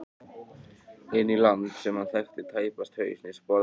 Inn í land sem hann þekkti tæpast haus né sporð á.